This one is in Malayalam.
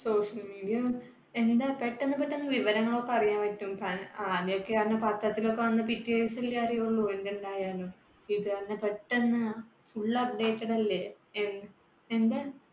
social media എന്താ പെട്ടെന്ന് പെട്ടെന്ന് വിവരങ്ങൾ ഒക്കെ അറിയാൻ പറ്റും. ആദ്യമൊക്കെ അന്ന് പത്രത്തിലോക്കെ വന്നു പിറ്റേദിവസം അല്ലേ അറിയുള്ളൂ എന്തുണ്ടായാലും. പെട്ടെന്ന് full updated അല്ലേ എ എന്താ